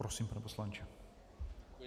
Prosím, pane poslanče.